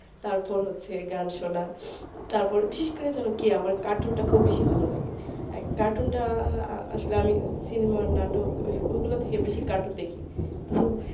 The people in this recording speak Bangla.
তারপর হচ্ছে গান শোনা তারপর বিশেষ করে জানো কি আমার cartoon টা খুব বেশি ভালো লাগে cartoon টা আসলে আমি cinema নাটক ওগুলার থেকে বেশি cartoon দেখি